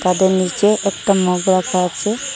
তাদের নিচে একটা মগ রাখা আছে।